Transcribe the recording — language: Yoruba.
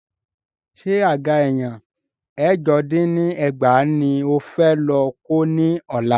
Ṣé àga èèyàn ẹ̀jọ dín ní ẹgbàá ní o fẹ́ lọ kó ní ọ̀la?